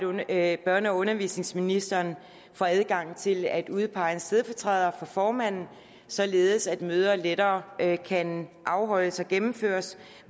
ved at børne og undervisningsministeren får adgang til at udpege en stedfortræder for formanden således at møder lettere kan afholdes og gennemføres